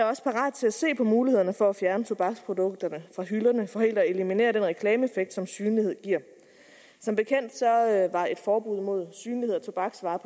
også parat til at se på mulighederne for at fjerne tobaksprodukterne fra hylderne for helt at eliminere den reklameeffekt som synlighed giver som bekendt var et forbud imod synlighed af tobaksvarer